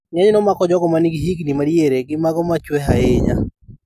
Ng'enyne omako jogo manigi higni ma diere gi mago machwe ahinya